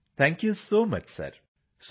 GRP CPT thank you ਸਿਰ